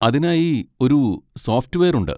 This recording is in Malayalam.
അതിനായി ഒരു സോഫ്റ്റ്‌വെയർ ഉണ്ട്.